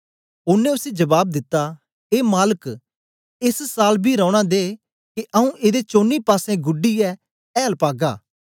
ओनें उसी जबाब दिता ए माल्क एस साल बी रौना दे के आऊँ एदे चौनी पासें गुढीयै ऐल पागा